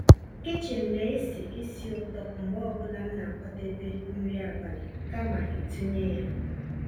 kichin ná-èsì ísí ụ̀tọ́ mgbe ọ́ bụ́là m ná-àkwàdébé nrí àbálị́ kàma ị̀tụ́nyé yá.